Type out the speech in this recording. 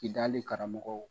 Kidali karamɔgɔ.